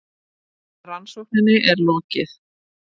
Rannsókninni er lokið!